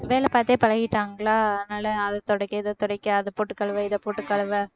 வேலை பாத்தே பழகிட்டாங்களா அதனால அதை துடைக்க இதை துடைக்க அதைப் போட்டு கழுவ இதைப் போட்டுக் கழுவ